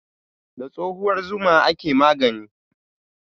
Da tsohuwar zuma ake magani.